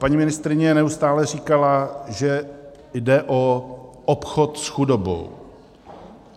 Paní ministryně neustále říkala, že jde o obchod s chudobou.